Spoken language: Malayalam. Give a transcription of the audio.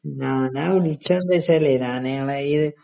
ആ ഞാൻ വിളിച്ചതെന്താന്ന് വെച്ചാലേ ഞാൻ ഇങ്ങളെ ഈ